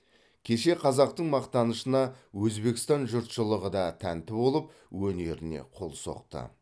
кеше қазақтың мақтанышына өзбекстан жұртшылығы да тәнті болып өнеріне қол соқты